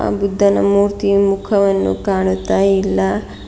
ಅ ಬುದ್ಧನ ಮೂರ್ತಿಯ ಮುಖವನ್ನು ಕಾಣುತ್ತಾ ಇಲ್ಲ.